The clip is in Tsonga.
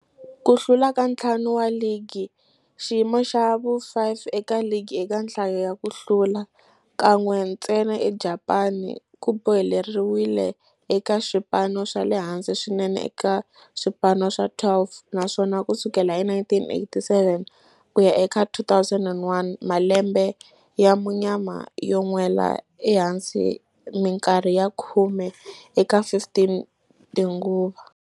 Ku hlula ka ntlhanu wa ligi, xiyimo xa vu-5 eka ligi eka nhlayo ya ku hlula, kan'we ntsena eJapani, ku boheleriwile eka swipano swa le hansi swinene eka swipano swa 12, naswona ku sukela hi 1987 ku ya eka 2001, malembe ya munyama yo nwela ehansi minkarhi ya khume eka 15 tinguva.